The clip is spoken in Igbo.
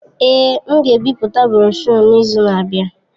Èé, m ga-ebipụta broshuọ n'izu na-abịa.